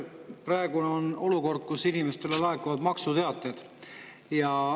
Praegu on olukord, kus inimestele laekuvad maksuteated.